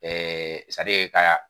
ka